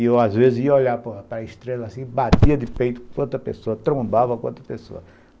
E eu, às vezes, ia olhar para a estrela assim e batia de peito com outra pessoa trombava com outra pessoa